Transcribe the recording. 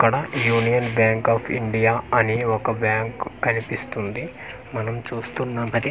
అక్కడ union bank of India అని ఒక బ్యాంక్ కనిపిస్తుంది మనం చూస్తున్నాం అది .